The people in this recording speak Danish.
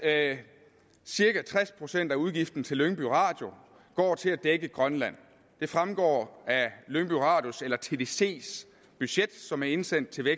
at cirka tres procent af udgiften til lyngby radio går til at dække grønland det fremgår af lyngby radios eller tdcs budget som er indsendt til